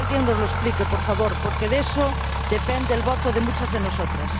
Que alguien nos lo explique, por favor, porque de eso depende el voto de muchas de nosotras.